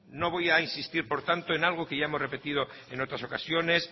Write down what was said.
no voy a insistir por tanto en algo que ya hemos repetido en otras ocasiones